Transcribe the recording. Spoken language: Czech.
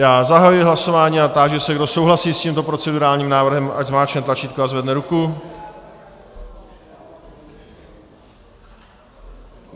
Já zahajuji hlasování a táži se, kdo souhlasí s tímto procedurálním návrhem, ať zmáčkne tlačítko a zvedne ruku.